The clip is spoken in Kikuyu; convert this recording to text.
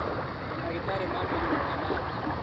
Mandagĩtarĩ ma mĩrimũ ya nabu